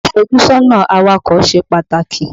Ìfójúsọ́nà awakọ̀ ṣe pàtàkì.